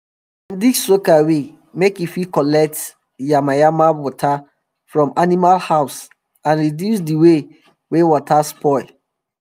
dem dig soakaway make e fit collect collect yamayama water from animal house and reduce d way wey water spoil